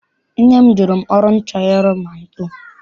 Nne m jụrụ m ọrụ m chọrọ ịrụ ma m too.